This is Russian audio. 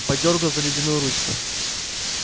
подёргал за ледяную ручку